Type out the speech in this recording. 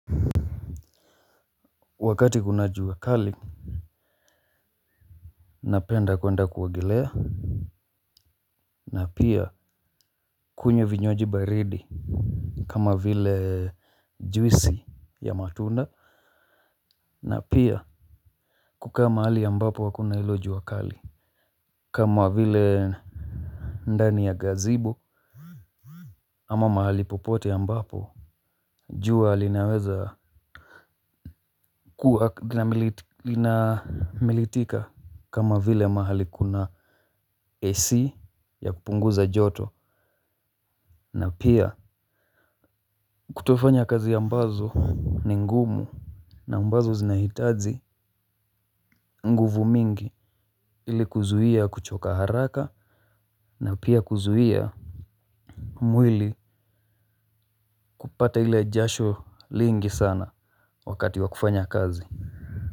Wakati kuna jua kali. Napenda kuenda kuogelea. Na pia kunywa vinywaji baridi. Kama vile juisi ya matunda. Na pia kukaa mahali ambapo hakuna hilo jua kali. Kama vile ndani ya gazebo ama mahali popote ambapo jua linaweza kuwa lina militika. Kama vile mahali kuna AC ya kupunguza joto. Na pia kutofanya kazi ambazo ni ngumu na ambazo zinahitaji nguvu mingi ili kuzuia kuchoka haraka na pia kuzuia mwili kupata ile jasho lingi sana wakati wa kufanya kazi.